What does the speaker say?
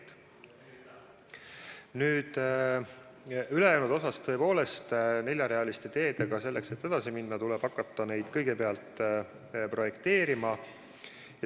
Mis puutub ülejäänusse, siis tõepoolest, selleks et neljarealiste teedega edasi minna, tuleb hakata kõigepealt neid projekteerima.